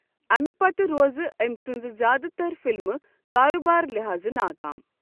امہِ پتہٕ روزٕ أمۍ سٕنٛزٕ زیادٕ تر فِلمہٕ کاربارٕ لحاظہٕ ناکام ۔